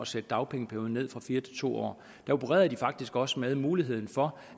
sætte dagpengeperioden ned fra fire år til to år så opererede de faktisk også med en mulighed for